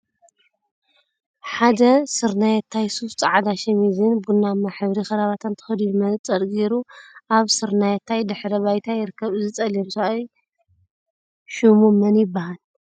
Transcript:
ሓደ ስረናየታይ ሱፍ፣ ፃዕዳ ሸሚዝን ቡናማ ሕብሪ ከረባታን ተከዲኑ መነፀረ ገይሩ አብ ስርናየታይ ድሕረ ባይታ ይርከብ፡፡ እዚ ፀሊም ሰብአይ ሽሙ መን ይበሃል?